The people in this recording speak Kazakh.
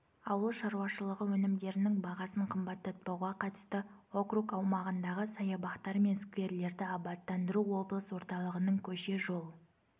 ауыл шаруашылығы өнімдерінің бағасын қымбаттатпауға қатысты округ аумағындағы саябақтар мен скверлерді абаттандыру облыс орталығының көше-жол